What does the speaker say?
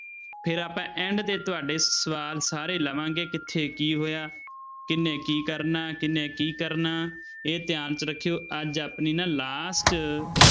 ਫਿਰ ਆਪਾਂ end ਤੇ ਤੁਹਾਡੇ ਸਵਾਲ ਸਾਰੇ ਲਵਾਂਗੇ ਕਿੱਥੇ ਕੀ ਹੋਇਆ, ਕਿਹਨੇ ਕੀ ਕਰਨਾ, ਕਿਹਨੇ ਕੀ ਕਰਨਾ, ਇਹ ਧਿਆਨ 'ਚ ਰੱਖਿਓ ਅੱਜ ਆਪਣੀ ਨਾ last